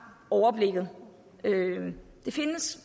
overblikket det findes